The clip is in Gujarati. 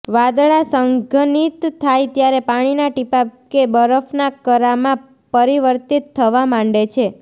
વાદળાં સંઘનિત થાય ત્યારે પાણીનાં ટીપાં કે બરફના કરામાં પરિર્વિતત થવા માંડે છે